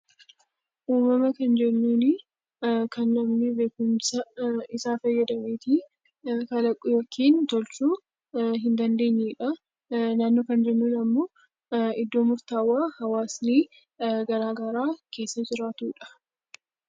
Uumama kan jennuuni kan namni beekumsa isaa fayyadameetii kalaqu yookiin tolchuu hin dandeenyedha. Naannoo kan jennuun ammoo iddoo murtaawaa hawaasni garaa garaa keessa jiraatudha.